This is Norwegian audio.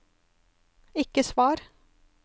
ikke svar